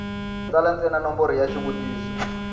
tsala ntsena nomboro ya xivutiso